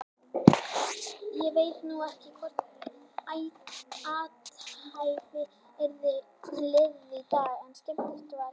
Ég veit nú ekki hvort svona athæfi yrði liðið í dag en skemmtilegt var það.